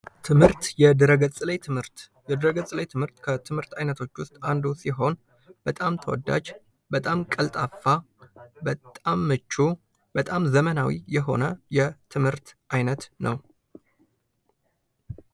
ትህምርት፦ የድህረ-ገጽ ላይ ትምህርት፡የድህረ-ገጽ ላይ ትምህርት ከትምህርት አይነቶች ውስጥ አንዱ ሲሆን በጣም ተወዳጅ በጣም ቀልጣፋ፣ በጣም ምቹ፣ ነው።